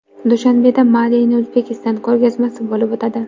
Dushanbeda Made in Uzbekistan ko‘rgazmasi bo‘lib o‘tadi.